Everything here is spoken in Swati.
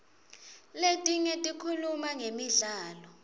letinye tikhuluma ngemidlalo